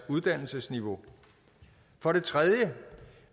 uddannelsesniveau for det tredje